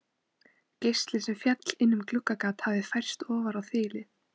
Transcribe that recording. Geisli sem féll inn um gluggagat hafði færst ofar á þilið.